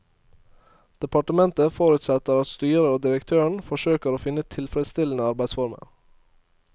Departementet forutsetter at styret og direktøren forsøker å finne tilfredsstillende arbeidsformer.